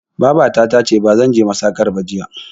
Babata tace bazan je masakar ba jiya